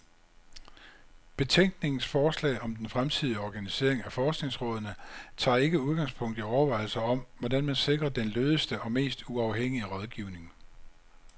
Betænkningens forslag om den fremtidige organisering af forskningsrådene tager ikke udgangspunkt i overvejelser om, hvordan man sikrer den lødigste og mest uafhængige rådgivning.